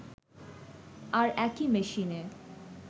আর একই মেশিনে